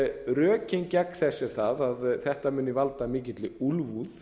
rökin gegn þessu eru þau að þetta muni valda mikilli úlfúð